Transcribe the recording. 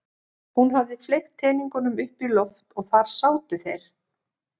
Hún hafði fleygt teningunum upp í loft og þar sátu þeir.